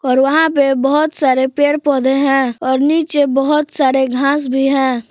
और वहाँ पे बहुत सारे पेड़ पौधे हैं और नीचे बहुत सारी घास भी है।